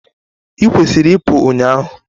ikwesịrị ị pụu ụnyahụ!